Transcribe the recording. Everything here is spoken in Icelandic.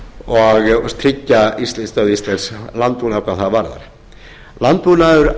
og tryggja tilvist íslensks landbúnaðar hvað það góðar landbúnaður